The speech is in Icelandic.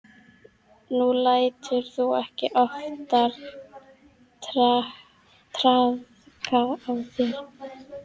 Nú lætur þú ekki oftar traðka á þér.